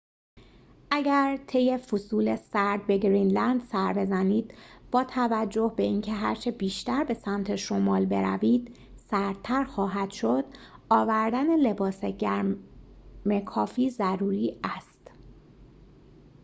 اگر طی فصول سرد به گرینلند سر بزنید باتوجه به اینکه هرچه بیشتر به سمت شمال بروید، سردتر خواهد شد، آوردن لباس گرم کافی ضروری است